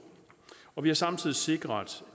og vi har samtidig sikret